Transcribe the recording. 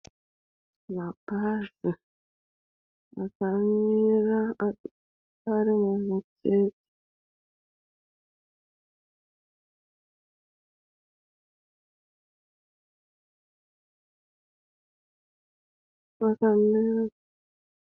Mabhazi akamira ari mumutsetse, akamira.